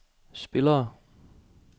spillere